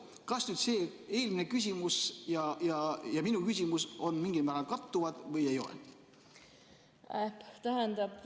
Kas see eelmine küsimus ja minu küsimus mingil määral kattuvad või mitte?